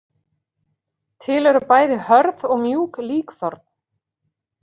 Til eru bæði hörð og mjúk líkþorn.